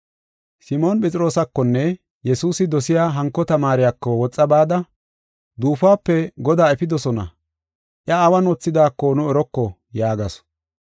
Simoon Phexroosakonne Yesuusi dosiya hanko tamaariyako woxa bada, “Duufuwape Godaa efidosona; iya awun wothidaako nu eroko” yaagasu.